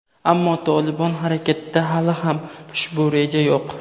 ammo "Tolibon" harakatida hali ham ushbu reja yo‘q.